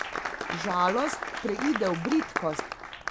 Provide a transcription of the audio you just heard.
Žalost preide v bridkost.